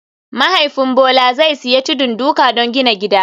Mahaifin Bola zai sayi tudun duka don gina gida